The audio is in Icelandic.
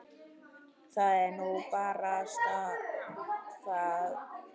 Það er nú barasta það.